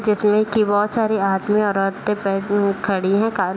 जिसमे की बहुत सारी आदमी और औरतें बेड उम्म खड़ी है का --